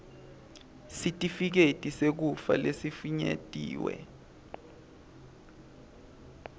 sitifiketi sekufa lesifinyetiwe